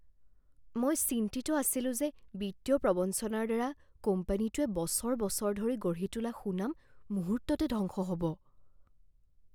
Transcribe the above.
মই চিন্তিত আছিলোঁ যে বিত্তীয় প্ৰৱঞ্চনাৰ দ্বাৰা কোম্পানীটোৱে বছৰ বছৰ ধৰি গঢ়ি তোলা সুনাম মুহূৰ্ততে ধ্বংস হ'ব।